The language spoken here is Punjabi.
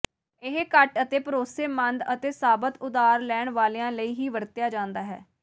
ਇਹ ਘੱਟ ਅਤੇ ਭਰੋਸੇਮੰਦ ਅਤੇ ਸਾਬਤ ਉਧਾਰ ਲੈਣ ਵਾਲਿਆਂ ਲਈ ਹੀ ਵਰਤਿਆ ਜਾਂਦਾ ਹੈ